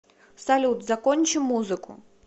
салют закончи музыку